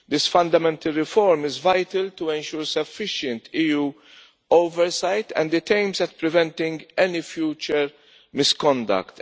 This fundamental reform is vital to ensure sufficient EU oversight and it aims at preventing any future misconduct.